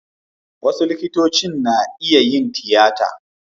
Wasu likitocin likita na iya yin tiyata.